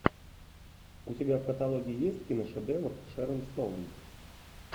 у тебя в каталоге есть киношедевр шерон стоун